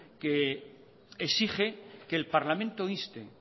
que exige que el parlamento inste